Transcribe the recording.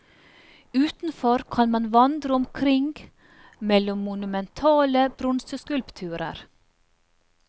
Utenfor kan man vandre omkring mellom monumentale bronseskulpturer.